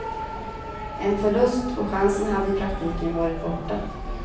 En förlust och chansen hade i praktiken varit borta.